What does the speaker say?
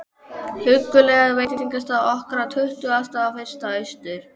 huggulega veitingastað okkar á Tuttugasta og fyrsta Austur